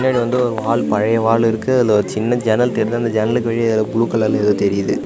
இதுல வந்து ஒரு வால் பலைய வால் இருக்கு அதுல சின்ன ஜன்னல் தெர்து அந்த ஜன்னலுக்கு வெளிய ப்ளூ கலர்ல ஏதோ தெரியுது.